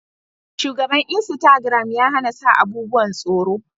Shugaban insitagiram ya hana sa abubuwan tsoro